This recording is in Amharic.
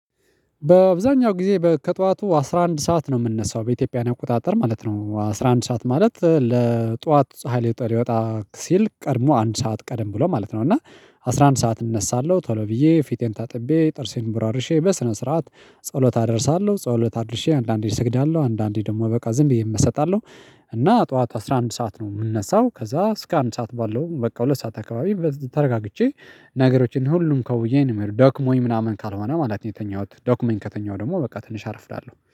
በአብዛኛው ጊዜ ከጠዋቱ አስራ አንድ ሰዓት ነው የምነሳው በኢትዮጵያ አቆጣጠር ማለት ነው አስራ አንድ ሰዓት ማለት ለጧት ፀሀይ ሊወጣ ሲል ቀድሞ አንድ ሰዓት ቀደም ብሎ ማለት ነው። እና አስራ አንድ ሰዓት እነሳለሁ ቶሎ ብዬ ፊቴን ታጥቤ ጥርሴን ቦራርርሼ በስነ ስርዓት ጸሎት አደርሳለሁ ጸሎት አድርሼ አንዳንዴ እሰግዳለሁ አንዳንዴ ደግሞ በቃ ዝም ብዬ እመሰጣለሁ። እና ጠዋት አስራ አንድ ሰዓት ነው የምንነሳው ከዛ እስከ አንድ ሰዓት ባለው በቃ ሁለት ሰዓት አካባቢ ተረጋግቼ ነገሮችን ሁሉም ከውዬ እንመርጥ ደክሞኝ ምናምን ካልሆነ ማለት ነው። የተኛሁት ዶክሞኝ ከተኛሁ ደግሞ በቃ ትንሽ አረፍዳለሁ